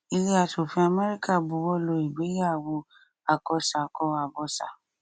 ilé asòfin america buwọlu ìgbéyàwó àkọsàkọ àbọsà